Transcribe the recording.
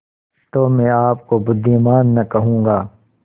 तो मैं आपको बुद्विमान न कहूँगा